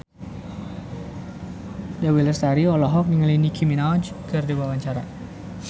Dewi Lestari olohok ningali Nicky Minaj keur diwawancara